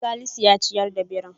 Salisu ya ciyar da birin.